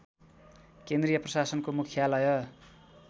केन्द्रीय प्रशासनको मुख्यालय